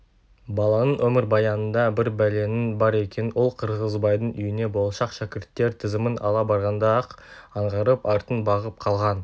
баланың өмірбаянында бір бәленің бар екенін ол қырғызбайдың үйіне болашақ шәкірттер тізімін ала барғанда-ақ аңғарып артын бағып қалған